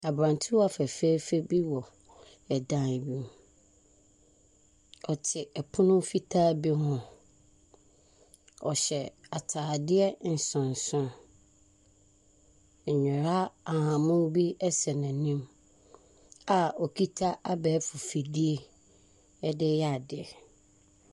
Aberantewa fɛfɛɛfɛ bi hyɛ dan mu, ɔte pono fitaa bi ho, ɔhyɛ ataadeɛ nsonson, nnwera ahahanmono sɛn anim a okita abɛɛfo fidie de reyɛ adeɛ.